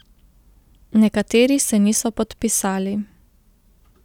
Nekateri se niso podpisali.